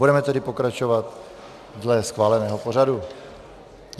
Budeme tedy pokračovat dle schváleného pořadu.